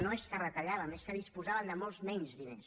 no és que retalléssim és que disposàvem de molts menys diners